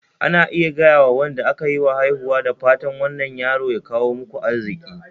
Ana iya gayawa Wanda aka yiwa haihuwa "da fatan wannan yaro ya kawo muku arziki